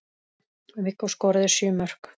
Viggó skoraði sjö mörk.